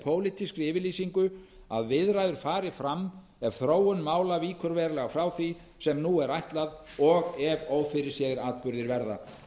pólitískri yfirlýsingu að viðræður fari fram ef þróun mála víkur verulega frá því sem nú er ætlað og ef ófyrirséðir atburðir verða